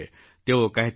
તેઓ કહેતા હતા